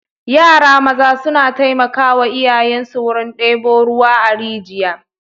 Yara maza suna taimakawa iyayensu wurin ɗebo ruwa a rijiya.